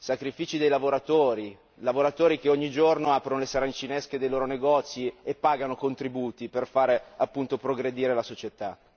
Sacrifici dei lavoratori, lavoratori che ogni giorno aprono le saracinesche dei loro negozi e pagano contributi per fare appunto progredire la società.